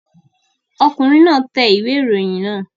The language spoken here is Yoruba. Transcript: Ọkùnrin náà tẹ ìwé ìròyìn náà